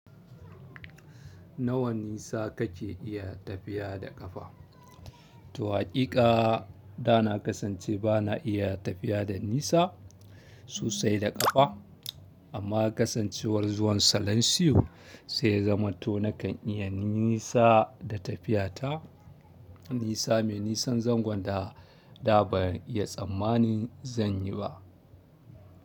Nawa nisa kake iya tafiya da ƙafa? To haƙiƙa da na kasance ba na iya tafiya da nisa sosai da ƙafa, amma kasancewar zuwan salansiyo sai ya zama to nakan iya nisa da tafiya ta nisa mai nisan zangon da ban iya tsammani zan yi ba.